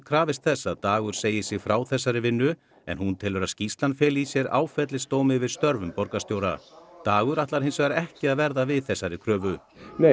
krafist þess að Dagur segi sig frá þessari vinnu en hún telur að skýrslan feli í sér áfellisdóm yfir störfum borgarstjóra dagur ætlar hins vegar ekki að verða við þessari kröfu